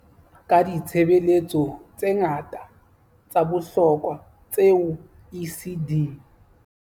Ka ditshebeletso tse ngata tsa bohlokwa tseo ECD